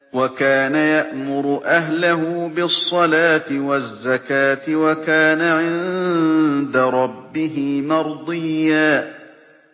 وَكَانَ يَأْمُرُ أَهْلَهُ بِالصَّلَاةِ وَالزَّكَاةِ وَكَانَ عِندَ رَبِّهِ مَرْضِيًّا